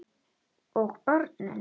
Og börnin?